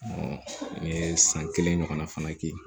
n ye san kelen ɲɔgɔnna fana kɛ